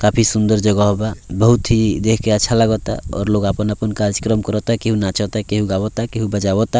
काफी सुन्दर जगह बा बहुत ही देख के अच्छा लगत और लोग अपन-अपन काचकरम कर ता केहूँ नाच ता केहूँ गाव ता केहूँ बजावा ता।